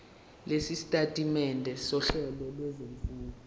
lwesitatimende sohlelo lwezifundo